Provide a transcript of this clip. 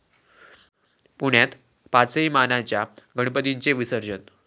पुण्यात पाचही मानाच्या गणपतींचे विसर्जन